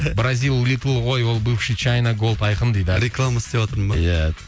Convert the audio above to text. бразил литл ой ол бывший чайна голд айқын дейді реклама істіватырмын ба иә